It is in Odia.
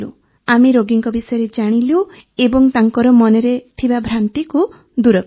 ଆମେ ରୋଗୀଙ୍କ ବିଷୟରେ ଜାଣିଲୁ ଏବଂ ତାଙ୍କର ମନରେ ଥିବା ଭ୍ରାନ୍ତିକୁ ଦୂର କଲୁ